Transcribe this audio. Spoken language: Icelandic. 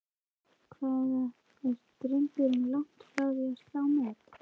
En hvað er drengurinn langt frá því að slá met?